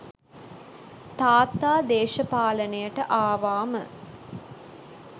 තාත්තා දේශපාලනයට ආවාම